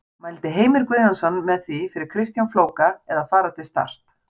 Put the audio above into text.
Mældi Heimir Guðjónsson með því fyrir Kristján Flóka að fara til Start?